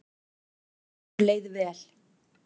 Okkur leið vel.